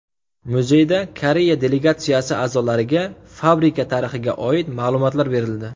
Muzeyda Koreya delegatsiyasi a’zolariga fabrika tarixiga oid ma’lumotlar berildi.